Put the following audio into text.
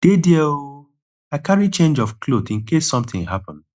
dey there oh i carry change of cloth in case something happen